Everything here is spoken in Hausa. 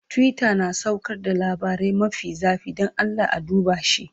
Twitter na saukar da labarai mafi zafi, don Allah a duba shi.